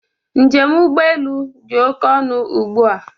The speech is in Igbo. Njem ụgbọelu dị oké ọnụ ụgbụa